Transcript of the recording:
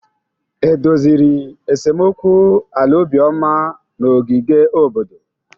E doziri esemokwu ala Obioma na ogige obodo?